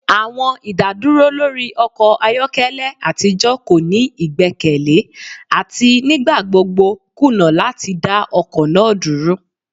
Awọn idaduro lori ọkọ ayọkẹlẹ atijọ ko ni igbẹkẹle ati nigbagbogbo kuna lati da ọkọ naa duro.